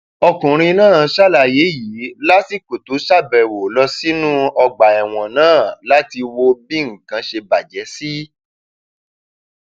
ọkùnrin náà ṣàlàyé yìí lásìkò tó ṣàbẹwò lọ sínú ọgbà ẹwọn náà láti wo bí nǹkan ṣe bàjẹ sí